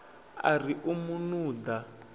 a ri u mu nuḓa